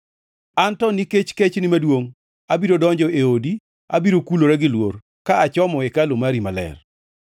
An to, nikech kechni maduongʼ, abiro donjo e odi; abiro kulora gi luor ka achomo hekalu mari maler.